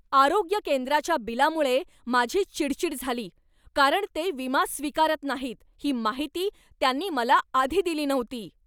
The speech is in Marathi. आरोग्य केंद्राच्या बिलामुळे माझी चिडचिड झाली कारण ते विमा स्वीकारत नाहीत ही माहिती त्यांनी मला आधी दिली नव्हती.